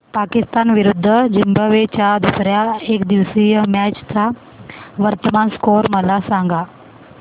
पाकिस्तान विरुद्ध झिम्बाब्वे च्या दुसर्या एकदिवसीय मॅच चा वर्तमान स्कोर मला सांगा